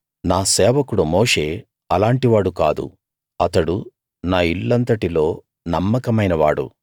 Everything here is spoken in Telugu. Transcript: నా సేవకుడు మోషే అలాంటి వాడు కాదు అతడు నా ఇల్లంతటిలో నమ్మకమైనవాడు